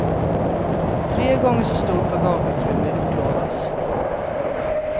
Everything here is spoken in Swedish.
Tre gånger så stort bagageutrymme utlovas.